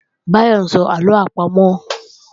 Báyọ́ ń sọ àlọ àpamọ̀